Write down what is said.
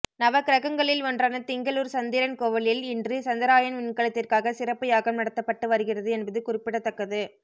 நவக்கிரகங்களில் ஒன்றான திங்களூர் சந்திரன் கோவிலில் இன்று சந்திராயன் விண்கலத்திற்காக சிறப்பு யாகம் நடத்தப்பட்டு வருகிறது என்பது குறிப்பிடத்தக்கது